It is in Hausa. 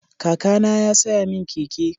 Kakana ya saya min keke.